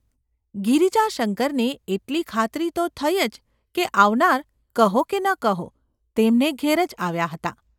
ગિરિજાશંકરને એટલી ખાતરી તો થઈ જ કે આવનાર, કહો કે ન કહો, તેમને ઘેર જ આવ્યાં હતાં.